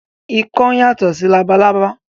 Ikán yàtọ̀ sí labalábá